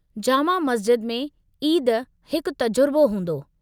जामा मस्ज़िद में ईद हिकु तजुर्बो हूंदो।